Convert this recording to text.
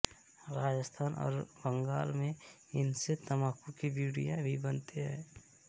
राजस्थान और बंगाल में इनसे तंबाकू की बीड़ियाँ भी बनाते हैं